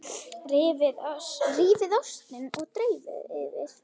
Rífið ostinn og dreifið yfir.